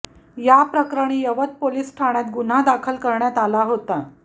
याप्रकरणी यवत पोलीस ठाण्यात गुन्हा दाखल करण्यात आला होता